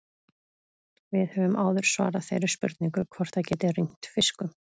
Við höfum áður svarað þeirri spurningu hvort það geti rignt fiskum.